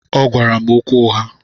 Ọgwara m okwu ụgha.